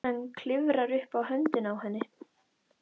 Hann klifrar upp á höndina á henni.